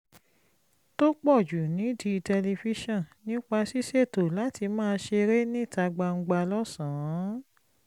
tó pọ̀ jù nídìí tẹlifíṣọ̀n nípa ṣíṣètò láti máa ṣeré níta gbangba lọ́sàn-án